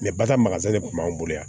bata de kun b'anw bolo yan